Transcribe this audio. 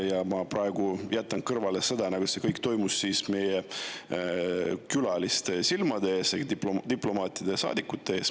Ja ma praegu jätan kõrvale selle, et see kõik toimus meie külaliste silmade ees, diplomaatide, saadikute ees.